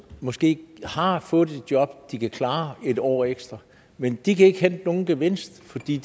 måske har fået et job de kan klare en år ekstra men de kan ikke hente nogen gevinst fordi